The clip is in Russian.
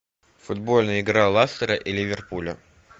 футбольная игра лассера и ливерпуля